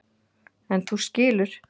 En þú skilur.